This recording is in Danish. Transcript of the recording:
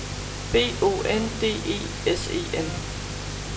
B O N D E S E N